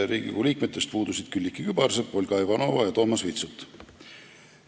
Riigikogu liikmetest puudusid Külliki Kübarsepp, Olga Ivanova ja Toomas Vitsut.